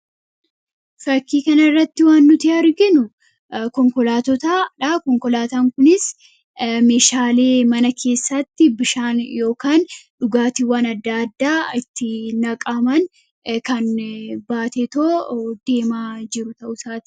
fakkii kan irratti waan nuti arginu konkolaatota dhaa konkolaataan kunis mishaalii mana keessatti bishaan ykaan dhugaatiiwwan adda addaa itti naqaaman kan baateetoo deemaa jiru ta'utaati